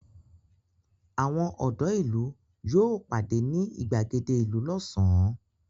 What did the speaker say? Àwọn ọ̀dọ́ ìlú yóò pàdé ní ìgbàgede ìlú lọ́sàn-án.